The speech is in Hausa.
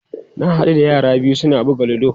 Na haɗu da yara biyu su na buga ludo.